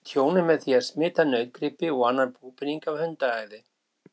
Þær valda umtalsverðu tjóni með því að smita nautgripi og annan búpening af hundaæði.